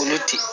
Kolo tɛ yen